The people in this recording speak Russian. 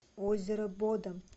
озеро бодом